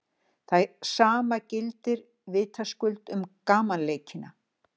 Það sama gildir vitaskuld um gamanleikina.